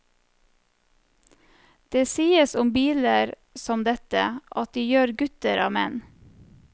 Det sies om biler som dette, at de gjør gutter av menn.